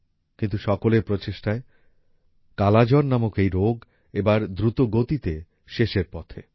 কিন্তু সকলের প্রচেষ্টায় কালা জ্বর নামক এই রোগ এবার দ্রুতগতিতে শেষের পথে